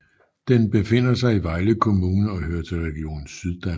Den befinder sig i Vejle Kommune og hører til Region Syddanmark